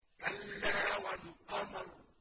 كَلَّا وَالْقَمَرِ